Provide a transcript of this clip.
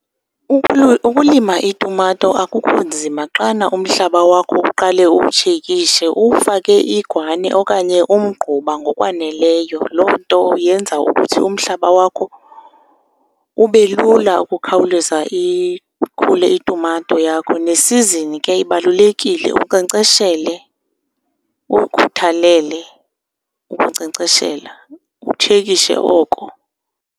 Ukulima iitumato akukho nzima xana umhlaba wakho uqale uwutshekishe, uwufake igwane okanye umgquba ngokwaneleyo. Loo nto yenza ukuthi umhlaba wakho ube lula ukukhawuleza ikhule itumato yakho. Nesizini ke ibalulekile unkcenkceshele, ukukhuthalele ukunkcenkceshela, utshekishe oko.